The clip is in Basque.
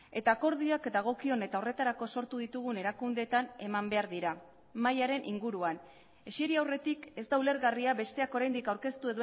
eta akordioak dagokion eta horretarako sortu ditugun erakundeetan eman behar dira mahaiaren inguruan eseri aurretik ez da ulergarria besteak oraindik aurkeztu